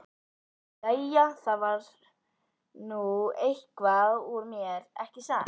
Jæja, það varð nú eitthvað úr mér, ekki satt?